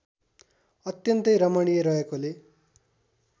अत्यन्तै रमणीय रहेकोले